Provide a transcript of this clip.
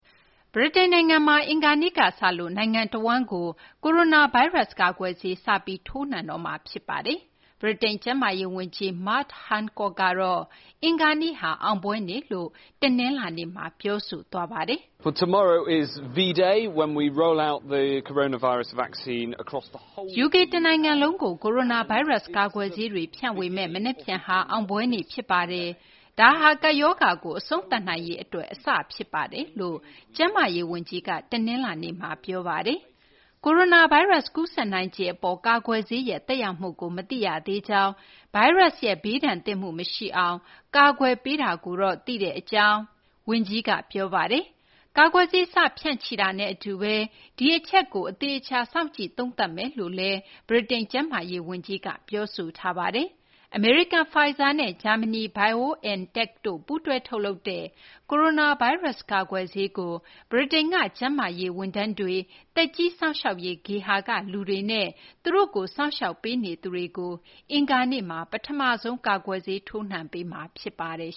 ဗြိတိန် နိုင်ငံမှာ အင်္ဂါနေ့ကစလို့ နိုင်ငံတဝန်းကို ကိုရိုနာ ဗိုင်းရပ်စ် ကာကွယ်ဆေး စပြီး ထိုးနှံပေးတော့မှာ ဖြစ်ပါတယ်။ ဗြိတိန် ကျန်းမာရေး ဝန်ကြီး Matt Hancock ကတော့ အင်္ဂါနေ့ဟာ အောင်ပွဲနေ့လို့ တနလာၤနေ့မှာ ပြောဆိုသွားပါတယ်။ "UK တနိုင်ငံလုံးကို ကိုရိုနာဗိုင်းရပ်စ် ကာကွယ်ဆေးတွေ ဖြန့်ဝေမယ့် မနက်ဖြန်ဟာ အောင်ပွဲ နေ့ ဖြစ်ပါတယ်။ ဒါဟာ ကပ်ဘေးရောဂါကို အဆုံးသတ်နိုင်ရေး အတွက် အစဖြစ်ပါတယ်" လို့ ကျန်းမာရေး ဝန်ကြီးက တနလာၤနေ့မှာ ပြောဆိုပါတယ်။ ကိုရိုနာဗိုင်းရပ်စ် ကူးစက်နိုင်ခြေ အပေါ် ကာကွယ်ဆေးရဲ့ သက်ရောက်မှုကို မသိရသေးကြောင်း၊ ဗိုင်းရပ်စ်ရဲ့ ဘေးဒဏ်သင့်မှု မရှိအောင် ကာကွယ်ပေးတာကိုတော့ သိတဲ့ အကြောင်း ဝန်ကြီးက ပြောပါတယ်။ ကာကွယ်ဆေး စတင် ဖြန့်ချိတာနဲ့ အတူဘဲ ဒီအချက်ကို အသေအချာ စောင့်ကြည့် သုံးသပ်သွားမယ်လို့လည်း ဗြိတိန် ကျန်းမာရေး ဝန်ကြီးက ပြောဆိုပါတယ်။ အမေရိကန် Pfizer နဲ့ ဂျာမနီ BioNTech တို့ ပူးတွဲ ထုတ်လုပ်တဲ့ ကိုရိုနာဗိုင်းရပ်စ် ကာကွယ်ဆေးကို ဗြိတိန်က ကျန်းမာရေး ဝန်ထမ်းတွေ၊ သက်ကြီး စောင့်ရှောက်ရေး ဂေဟာက လူတွေနဲ့ သူတို့ကို စောင့်ရှောက်နေသူတွေကို အင်္ဂါနေ့မှာ ပထမဆုံး ကာကွယ်ဆေး ထိုးနှံပေးမှာ ဖြစ်ပါတယ်